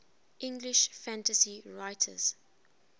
english fantasy writers